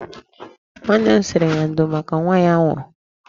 Nnenne m sịrị ya ndo maka nwa ya nwụrụ.